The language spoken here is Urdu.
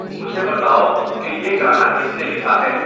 مجھے بتاؤ کہ یہ گانا کس نے لکھا ہے